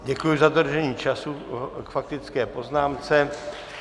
Děkuji za dodržení času k faktické poznámce.